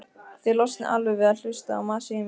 Þið losnið alveg við að hlusta á masið í mér.